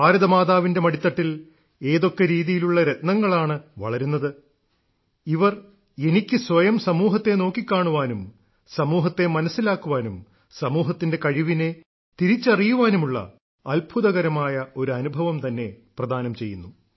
ഭാരതമാതാവിന്റെ മടിത്തട്ടിൽ ഏതൊക്കെ രീതിയിലുള്ള രത്നങ്ങളാണ് വളരുന്നത് ഇവർ എനിക്ക് സ്വയം സമൂഹത്തെ നോക്കിക്കാണാനും സമൂഹത്തെ മനസ്സിലാക്കാനും സമൂഹത്തിന്റെ കഴിവിനെ തിരിച്ചറിയുവാനുമുള്ള അത്ഭുതകരമായ ഒരനുഭവം തന്നെ പ്രദാനം ചെയ്യുന്നു